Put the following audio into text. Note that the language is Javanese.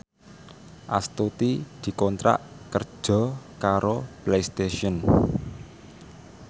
Astuti dikontrak kerja karo Playstation